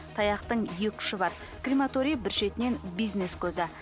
таяқтың екі ұшы бар крематорий бір шетінен бизнес көзі